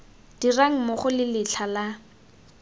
dirang mmogo le letlha la